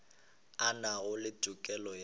a nago le tokelo ya